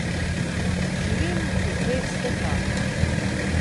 Živim v dveh svetovih.